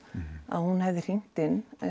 að hún hefði hringt inn